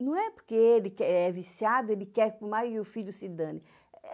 Não é porque ele que é viciado, ele quer fumar e o filho se dane.